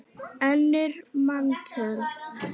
önnur manntöl